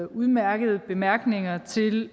udmærkede bemærkninger til